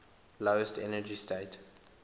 lowest energy state